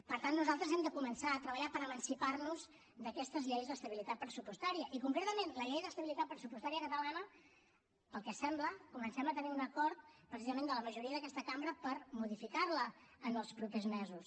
per tant nosaltres hem de començar a treballar per emancipar nos d’aquestes lleis d’estabilitat pressupostària i concretament la llei d’estabilitat pressupostària catalana pel que sembla comencem a tenir un acord precisament de la majoria d’aquesta cambra per modificar la en els propers mesos